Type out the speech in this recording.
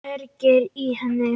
Kveikir í henni.